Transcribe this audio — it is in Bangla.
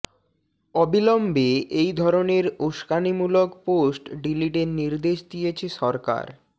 অবিলম্বে এই ধরনের উস্কানিমূলক পোস্ট ডিলিটের নির্দেশ দিয়েছে সরকার